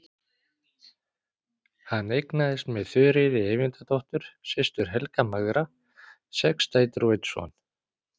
Hann eignaðist með Þuríði Eyvindardóttur, systur Helga magra, sex dætur og einn son.